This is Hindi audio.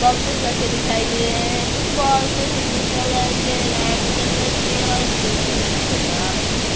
बोक्सेस रखे दिखाई दे रहै हैं कुछ बोक्सेस ब्लू कलर के रेड कलर के और ग्रीन कलर के नज़र आ रहै हैं।